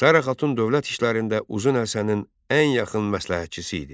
Sara Xatun dövlət işlərində Uzun Həsənin ən yaxın məsləhətçisi idi.